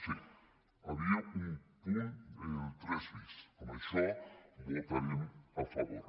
sí hi havia un punt el tres bis a això votarem a favor